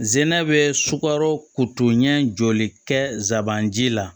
Zɛnɛ bɛ sukaro kotoɲɛ jɔli kɛsabanji la